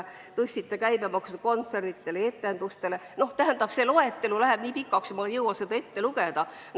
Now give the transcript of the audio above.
Te tõstsite kontsertide ja etenduste käibemaksu – see loetelu läheb nii pikaks, et ma ei jõua seda ette lugeda.